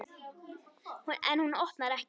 En hún opnar ekki.